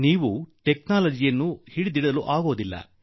ನೀವು ತಂತ್ರಜ್ಞಾನವನ್ನು ಹಿಡಿದಿಟ್ಟುಕೊಳ್ಳಲು ಸಾಧ್ಯವಿಲ್ಲ